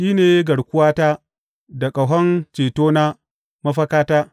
Shi ne garkuwata da ƙahon cetona, mafakata.